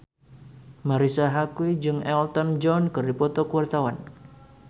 Marisa Haque jeung Elton John keur dipoto ku wartawan